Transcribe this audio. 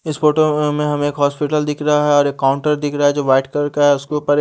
इस फोटो में हमें हमें एक हॉस्पिटल दिख रहा है और एक काउंटर दिख रहा है जो व्हाइट कलर का है उसके ऊपर--